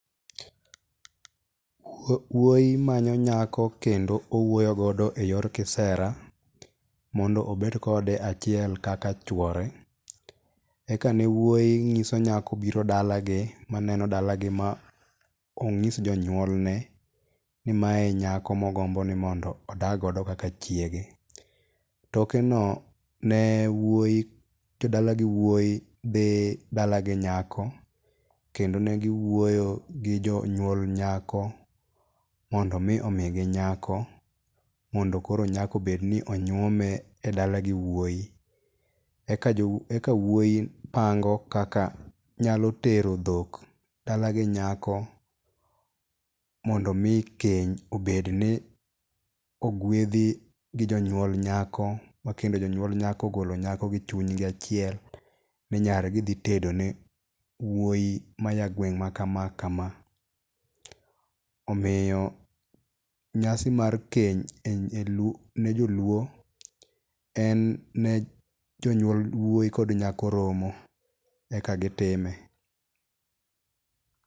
Wuoyi manyo nyako kendo owuoyo godo e yor kisera mondo obed kode achiel kaka chuore. Eka ne wuoyi ng'iso nyako biro dalagi ma neno dalagi ma ong'is jonyuolne ni mae nyako mogombo nimondo odag go kaka chiege. Toke no ne wuoyi, jodala gi wuoyi dhi dala gi nyako kendo ne giwuoyo gi jonyuol nyako mondo mi omigi nyako, mondo koro nyako obedni onyuome e dala gi wuoyi. Eka jowuoyi pango kaka nyalo tero dhok dalagi nyako mondo mi keny obedni ogwedhi gi jonyuol nyako ma kendo jonyuol nyako ogolo nyako gi chunygi achiel ni nyargi dhi tedone wuoyi maya gweng' ma kama kama. Omiyo nyasi mar keny ne joluo en ne jonyuol wuoyi kod nyako romo eka gitime.